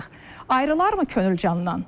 Ayrılarmı könül candan?